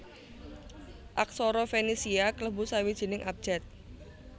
Aksara Fenisia klebu sawijining abjad